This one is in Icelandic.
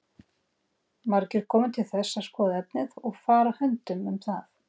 Margir komu til þess að skoða efnið og fara höndum um það.